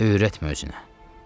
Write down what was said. Öyrətmə özünə.